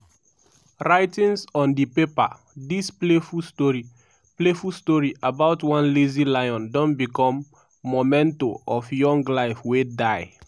writings on di paper dis playful story playful story about one lazy lion don become memento of young life wey die.